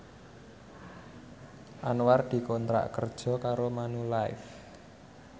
Anwar dikontrak kerja karo Manulife